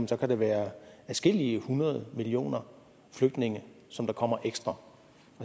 der kan være adskillige hundrede millioner flygtninge som kommer ekstra